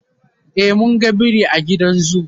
e mun ga biri a gidan zoo